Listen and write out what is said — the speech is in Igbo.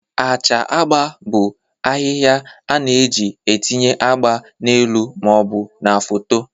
Acha agba bụ ahịhịa a na-eji etinye agba n'elu ma ọ bụ na foto